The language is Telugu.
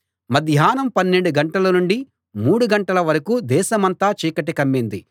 మధ్యాహ్నం పన్నెండు గంటల నుండి మూడు గంటల వరకూ దేశమంతా చీకటి కమ్మింది